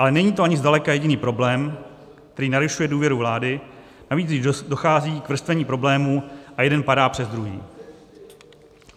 Ale není to ani zdaleka jediný problém, který narušuje důvěru vlády, navíc když dochází k vrstvení problémů a jeden padá přes druhý.